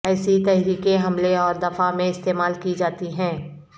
ایسی تحریکیں حملے اور دفاع میں استعمال کی جاتی ہیں